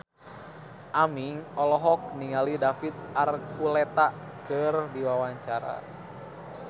Aming olohok ningali David Archuletta keur diwawancara